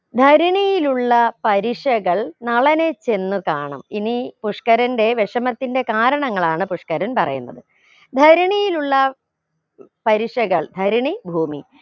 ധരണിയിലുള്ള പരിഷകൾ നളനെ ചെന്ന് കാണും ഇനി പുഷ്‌ക്കരന്റെ വിഷമത്തിന്റെ കാരണങ്ങളാണ് പുഷ്ക്കരൻ പറയുന്നത് ധരണിയിലുള്ള പരീക്ഷകൾ ധരണി ഭൂമി